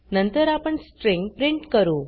नंतर आपण string print करू